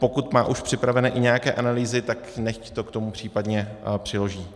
Pokud má už připravené i nějaké analýzy, tak nechť to k tomu případně přiloží.